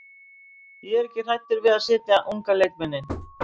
Ég er ekki hræddur við að setja unga leikmenn inn.